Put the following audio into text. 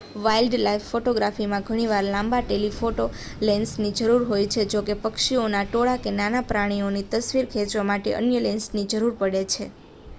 wildlife ફોટોગ્રાફીમાં ઘણીવાર લાંબા ટેલિફોટો લેન્સની જરૂર હોય છે જોકે પક્ષીઓના ટોળા કે નાના પ્રાણીઓની તસ્વીર ખેંચવા માટે અન્ય લેન્સની જરૂર પડે છે